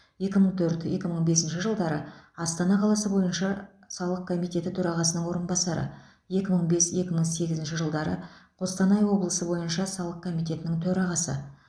екі мың төрт екі мың бесінші жылдары астана қаласы бойынша салық комитеті төрағасының орынбасары екі мың бес екі мың сегізінші жылдары қостанай облысы бойынша салық комитетінің төрағасы